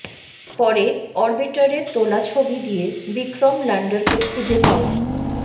পরে অরবিটারে তোলা ছবি দিয়ে বিক্রম ল্যান্ডারকে খুঁজে পাওয়া